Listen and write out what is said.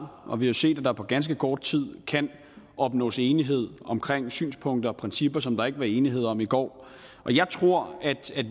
og vi har set at der på ganske kort tid kan opnås enighed om synspunkter og principper som der ikke var enighed om i går